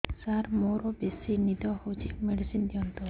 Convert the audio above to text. ସାର ମୋରୋ ବେସି ନିଦ ହଉଚି ମେଡିସିନ ଦିଅନ୍ତୁ